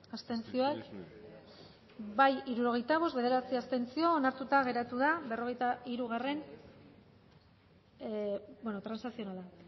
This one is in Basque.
emaitza onako izan da hirurogeita hamalau eman dugu bozka hirurogeita bost boto aldekoa bederatzi abstentzio onartuta geratu da berrogeita hiru transakzionala